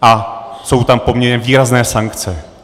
A jsou tam poměrně výrazné sankce.